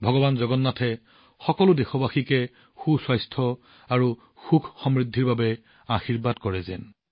ভগৱান জগন্নাথে সকলো দেশবাসীক সুস্বাস্থ্য আৰু সুখ আৰু সমৃদ্ধিৰ আশীৰ্বাদ কৰক